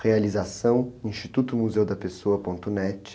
Realização Instituto Museu da Pessoa ponto net